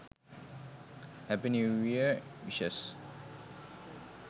happy new year wishes